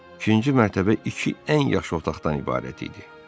İkinci mərtəbə iki ən yaxşı otaqdan ibarət idi.